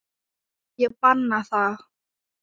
Ég banna það.